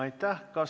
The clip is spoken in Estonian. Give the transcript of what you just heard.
Aitäh!